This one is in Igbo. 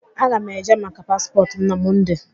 Aga m eje maka paspọtụ m na Mọnde.